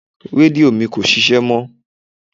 Rédíò mi kò ṣíṣe mó.